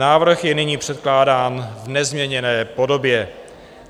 Návrh je nyní předkládán v nezměněné podobě.